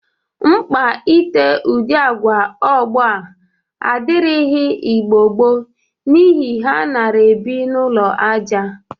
Mkpa ite udị agwa ọgbọ a adịrịghị Igbo gboo n'ihi ha nara ebi n'ụlọ aja